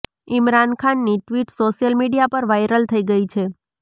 ઇમરાન ખાનની tweet social media પર viral થઇ ગઇ છે